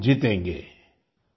जरूर जीतेगें